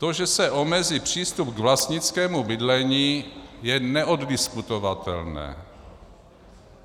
To, že se omezí přístup k vlastnickému bydlení, je neoddiskutovatelné.